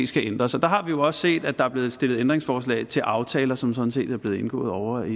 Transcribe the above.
skal ændres og der har vi jo også set at der er blevet stillet ændringsforslag til aftaler som sådan set er blevet indgået ovre i